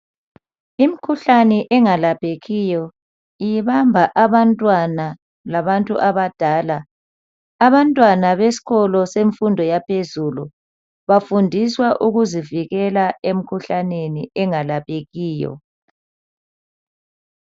Imikhuhlane engalaphekiyo ibamba abantwana labantu abadala abantwana besikolo semfundo yaphezulu bafundiswa ukuzivikela emikhuhlaneni engalaphekiyo.